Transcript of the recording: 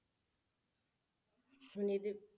ਹੁਣ ਇਹਦੇ,